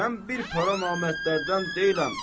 Mən bir para namərdlərdən deyiləm.